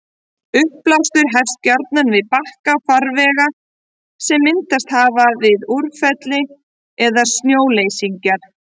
Uppblástur hefst gjarnan við bakka farvega sem myndast hafa við úrfelli eða snjóleysingar.